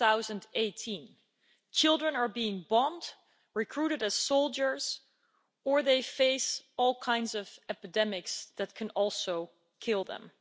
2018. Children are being bombed, recruited as soldiers, or facing all kinds of epidemics that can also kill them.